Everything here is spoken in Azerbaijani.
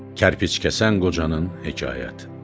Kərpic kəsən qocanın hekayəti.